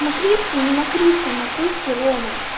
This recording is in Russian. мокривский не мокрица мокривский рома